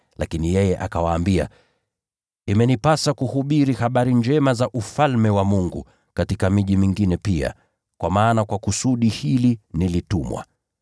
Lakini yeye akawaambia, “Imenipasa kuhubiri habari njema za Ufalme wa Mungu katika miji mingine pia, kwa maana kwa kusudi hili nilitumwa.”